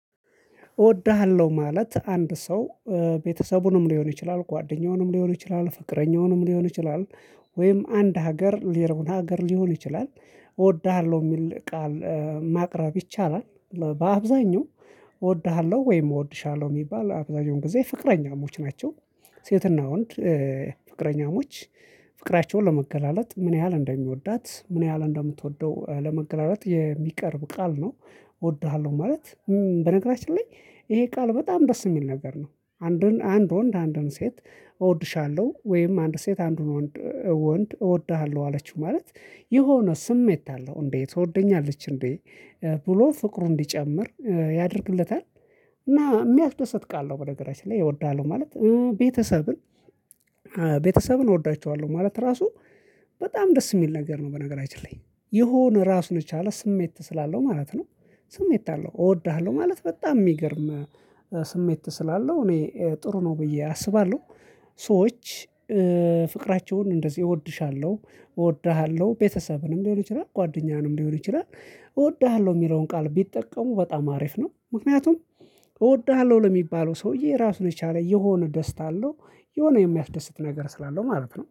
እወድሃለሁ ማለት አንድ ሰው ቤተሰቡንም ሊሆን ይችላል ጓደኛውንም ሊሆን ይችላል ፍቅረኛውንም ሊሆን ይችላል። ወይም አንድ ሀገር ሌላውን ሀገር ሊሆን ይችላል። እወድሃለሁ የሚል ቃል ማቅረብ ይቻላል። በአብዛኛው እወድሃለሁ ወይም እወድሻለሁ የሚባል አብዛኛው ጊዜ ፍቅረኛሞች ናቸው። ሴትና ወንድ ፍቅረኛሞች ፍቅራቸውን ለመገላለጥ ምን ያህል እንደሚወዳት ምን ያህል እንደምትወደው ለመገላለጥ የሚቀርብ ቃል ነው። እወድሃለሁ ማለት በነገራችን ላይ ይሄ ቃል በጣም ደስ የሚል ነገር ነው። አንዱን አንድ ወንድ አንድን ሴት እወድሻለሁ ወይም አንድ ሴት አንዱን ወንድ እወድሃለሁ አለችው ማለት የሆነ ስሜት አለው እንዴ ትወደኛለች እንዴ? ብሎ ፍቅሩን እንዲጨምር ያደርግለታል እና የሚያስደስት ቃል ነው። በነገራችን ላይ እወድሃለሁ ማለት ቤተሰብን ቤተሰብን እወዳቸኋለሁ ማለት ራሱ በጣም ደስ የሚል ነገር ነው። በነገራችን ላይ የሆነ ራሱን የቻለ ስሜት ስላለው ማለት ነው። ስሜት አለው እወድሃለሁ ማለት በጣም የሚገርም ስሜት ስላለው እኔ ጥሩ ነው ብዬ አስባለሁ። ሰዎች ፍቅራቸውን እንደዚህ እወድሻለሁ እወድሃለሁ ቤተሰብንም ሊሆን ይችላል ጓደኛንም ሊሆን ይችላል። እወድሃለሁ የሚለውን ቃል ቢጠቀሙ በጣም አሪፍ ነው። ምክንያቱም እወድሃለሁ ለሚባለው ሰውዬ ራሱን የቻለ የሆነ ደስታ አለው የሆነ የሚያፍደስት ነገር ስላለው ማለት ነው